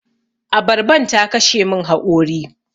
Abarban ta kashe mun haƙori.